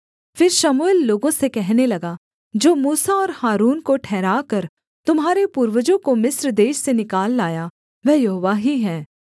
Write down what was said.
फिर शमूएल लोगों से कहने लगा जो मूसा और हारून को ठहराकर तुम्हारे पूर्वजों को मिस्र देश से निकाल लाया वह यहोवा ही है